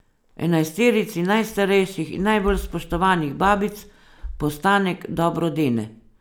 Enajsterici najstarejših in najbolj spoštovanih babic postanek dobro dene.